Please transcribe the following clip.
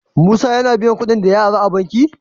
Musa yAna biyan kuɗin da ya ara a banki?